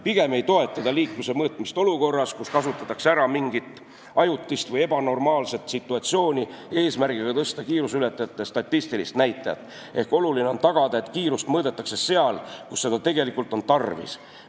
Pigem ei toeta ta kiiruse mõõtmist olukorras, kus kasutatakse ära mingit ajutist või ebanormaalset situatsiooni, eesmärgiga tõsta kiiruseületajate statistilist näitajat, ehk oluline on tagada, et kiirust mõõdetakse seal, kus seda tegelikult on tarvis.